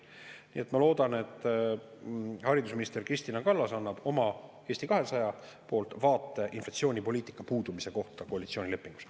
Nii et ma loodan, et haridusminister Kristina Kallas annab enda ja Eesti 200 poolt vaate inflatsioonipoliitika puudumise kohta koalitsioonilepingus.